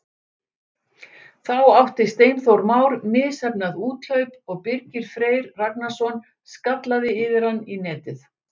Þar átti Steinþór Már misheppnað úthlaup og Birgir Freyr Ragnarsson skallaði yfir hann í netið.